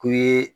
K'u ye